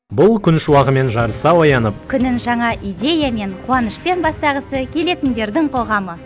бұл күн шуағымен жарыса оянып күнін жаңа идеямен қуанышпен бастағысы келетіндердің қоғамы